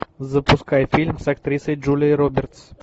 запускай фильм с актрисой джулией робертс